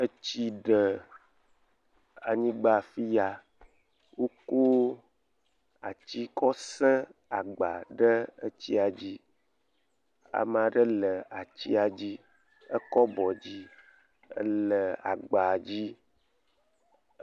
Etsi ɖe anyigba afiya wo ko atsi kɔ sẽ agba ɖe atsia dzi, amaɖe le atsia dzi ekɔ abɔ dzi ele agbadzi.